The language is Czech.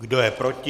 Kdo je proti?